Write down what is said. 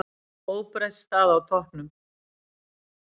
Óbreytt staða á toppnum